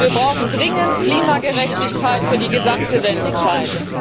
Wir brauchen dringend Klimagerechtigkeit für die gesamte Menschheit.